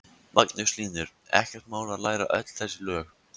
Magnús Hlynur: Ekkert mál að læra öll þessi lög?